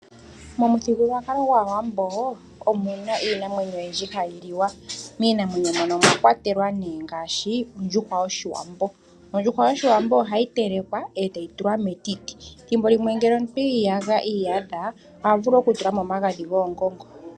Momuthigulwakalo gwaawambo omuna iinamwenyo oyindji hayi liwa miinamwenyo moka omwa kwatelwa ondjuhwa yoshiwambo. Ondjuhwa yoshiwambo ohayi telekwa etayi tulwa metiti thimbo limwe ngele omuntu iyadha ohavulu okutulamo omagadhi goongongo.